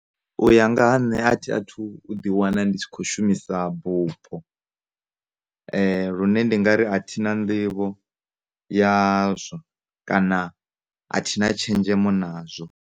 U ya nga ha nne a thi a thu u ḓi wana ndi tshi khou shumisa bufho lune ndi ngari a thina nḓivho yazwo kana a thina tshenzhemo nazwo.